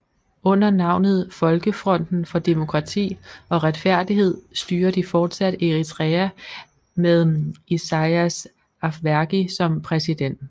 Under navnet folkefronten for demokrati og retfærdighed styrer de fortsat Eritrea med Isaias Afwerki som præsident